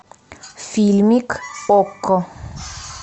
фильмик окко